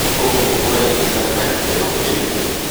ũguo ũraigwĩka ta gĩkeno kĩnene.